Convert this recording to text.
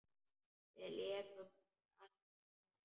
Við lékum okkur alltaf saman.